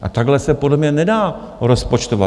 A takhle se podle mě nedá rozpočtovat.